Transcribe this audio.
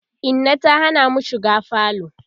Inna ta Hana mu shiga falo